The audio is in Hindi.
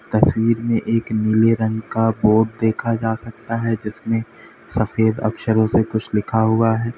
तस्वीर में एक नीले रंग का बोर्ड देखा जा सकता है जिसमे सफेद अक्षरों से कुछ लिखा हुआ है।